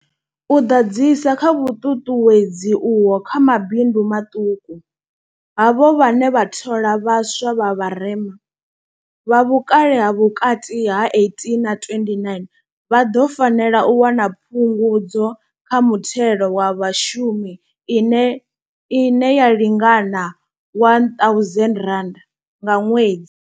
U ḓadzisa kha vhuṱuṱuwedzi uho kha mabindu maṱuku, havho vhane vha thola vha swa vha vharema, vha vhukale ha vhukati ha 18 na 29, vha ḓo fanela u wana phungudzo kha muthelo wa vhashumi ine ine ya lingana R1 000 nga ṅwedzi.